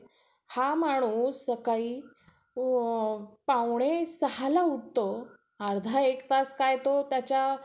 तसेच ते आ त्याच्या आत्मसंमनावर आणि त्यांच्या पालकाच्या मान्यतेवर शिक्षणाचा प्रभाव शोधू शकतात आपली स्वतःची कौशल्ये सुधारणे